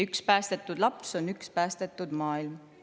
Üks päästetud laps on üks päästetud maailm.